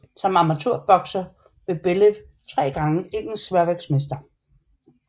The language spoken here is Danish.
Som amatørbokser blev Bellew 3 gange Engelsk sværvægtsmester